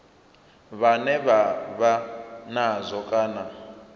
vhane vha vha nazwo kana